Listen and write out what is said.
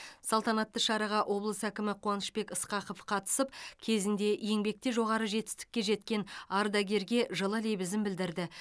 салтанатты шараға облыс әкімі қуанышбек ысқақов қатысып кезінде еңбекте жоғары жетістікке жеткен ардагерге жылы лебізін білдірді